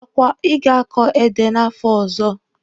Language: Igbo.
Ọkwa ị ga-akọ ede n'afọ ọzọ?